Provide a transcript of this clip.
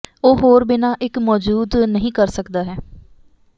ਉਹ ਹੋਰ ਬਿਨਾ ਇੱਕ ਮੌਜੂਦ ਨਹੀ ਕਰ ਸਕਦਾ ਹੈ